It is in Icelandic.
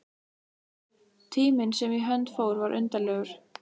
Tíminn sem í hönd fór var undarlegur.